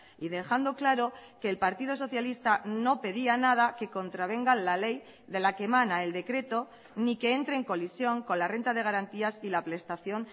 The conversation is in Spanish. y dejando claro que el partido socialista no pedía nada que contravenga la ley de la que emana el decreto ni que entre en colisión con la renta de garantías y la prestación